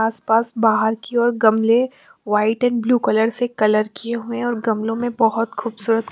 आस पास बहार की ओर गमले वाइट एंड ब्लू कलर से कलर किये हुए है और गमलो में बहोत खूबसूरत--